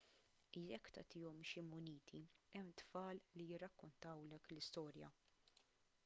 jekk tagħtihom xi muniti hemm tfal li jirrakkontawlek l-istorja